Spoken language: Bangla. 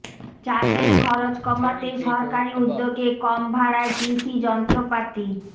চাষের খরচ কমাতে সরকারি উদ্যোগে কম ভাড়ায় কৃষি যন্ত্রপাতি